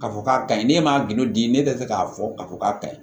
K'a fɔ k'a ka ɲi ne ma gindo di ne tɛ fɛ k'a fɔ a ko k'a ka ɲi